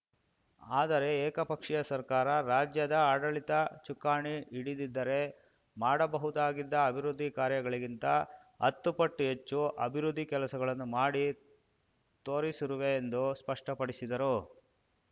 ಆದರೆ ಏಕಪಕ್ಷೀಯ ಸರ್ಕಾರ ರಾಜ್ಯದ ಆಡಳಿತ ಚುಕ್ಕಾಣಿ ಹಿ‌ಡಿದಿದ್ದರೆ ಮಾಡಬಹುದಾಗಿದ್ದ ಅಭಿವೃದ್ಧಿ ಕಾರ್ಯಗಳಿಗಿಂತ ಹತ್ತು ಪಟ್ಟು ಹೆಚ್ಚು ಅಭಿವೃದ್ಧಿ ಕೆಲಸಗಳನ್ನು ಮಾಡಿ ತೋರಿಸಿರುವೆ ಎಂದು ಸ್ಪಷ್ಟಪಡಿಸಿದರು